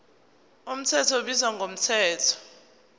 mthetho ubizwa ngomthetho